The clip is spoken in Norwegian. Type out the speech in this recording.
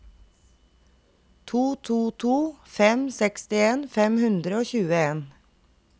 to to to fem sekstien fem hundre og tjueen